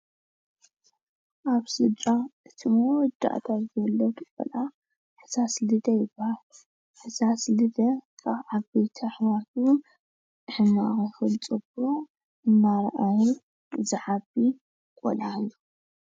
ኣብ ስድራ እቲ መወዳእታ ዝውለድ ቆልዓ ሕሳስ ልደ ይባሃል፡፡ ሕሳስ ልደ ካብ ዓበይቲ ኣሕዋቱ ሕማቕ ይኹን ፅቡቕ እናራኣየ ዝዓቢ ቆልዓ እዩ፡፡